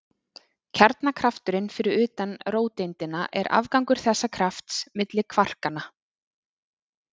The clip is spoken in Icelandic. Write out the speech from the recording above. Kjarnakrafturinn fyrir utan róteindina er afgangur þessa krafts milli kvarkanna.